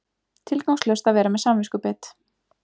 Tilgangslaust að vera með samviskubit.